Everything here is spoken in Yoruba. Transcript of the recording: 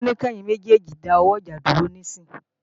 Ó ní kẹ́yin méjèèjì dáwọ́ ìjà dúró níìsín!